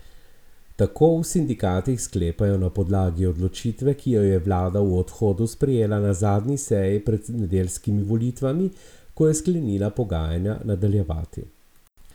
Tako v sindikatih sklepajo na podlagi odločitve, ki jo je vlada v odhodu sprejela na zadnji seji pred nedeljskimi volitvami, ko je sklenila pogajanja nadaljevati.